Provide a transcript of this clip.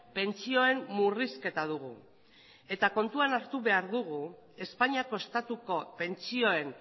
pentsioen murrizketa dugu kontuan hartu behar dugu espainiako estatuko pentsioen